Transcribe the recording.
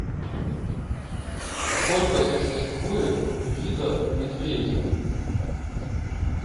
сколько существует видов медведей